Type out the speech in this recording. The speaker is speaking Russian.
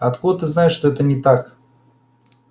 а откуда ты знаешь что это не так